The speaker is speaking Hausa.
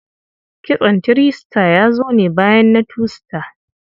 Kitson three star ya zo ne bayan na two star.